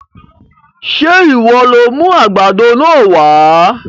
Sé ìwọ lo mú àgbàdo náà wá?